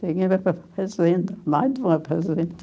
Tinha uma fazenda, mais de uma fazenda.